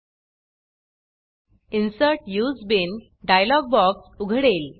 insert use Beanइनसर्ट use bean dialog box उघडेल